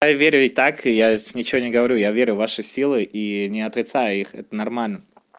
я верю и так я ничего не говорю я верю в ваши силы и не отрицаю их это нормально